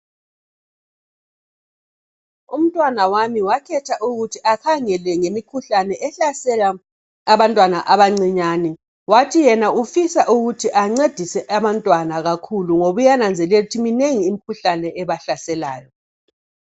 Umntanami ngakhetha ukuthi akhangele ngemikhuhlane ehlasela abantwana abancinyane, Wathi yena ufisa ukuthi ancedise abantwana kakhulu ngoba uyananzelela ukuthi minengi imkhuhlane ebahlaselayo.